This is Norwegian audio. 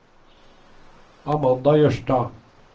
Amanda Jørstad